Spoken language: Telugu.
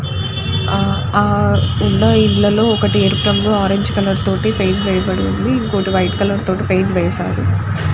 ఆ ఆ ఉన్న ఇళ్ళలో ఒక ఎరుపు రంగు ఆరెంజ్ కలర్ తోటి పేయింట్ వేయబడి ఉంది. ఇంకోటి వైట్ కలర్ తోటి పేయింట్ వేశారు.